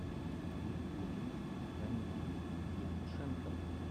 евгений ранеевич евтушенков